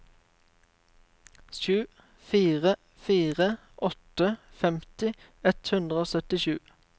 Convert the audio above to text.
sju fire fire åtte femti ett hundre og syttisju